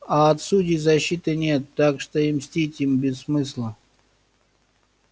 а от судей защиты нет так что и мстить им без смысла